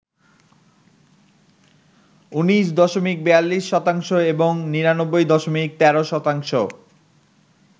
১৯.৪২% এবং ৯৯.১৩%